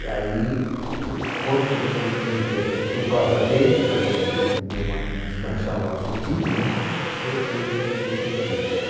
E aí, o pro quando eu co entrei pr por causa deles, para não não ma desmanchar o nosso time, né? Eu fui para para o científico.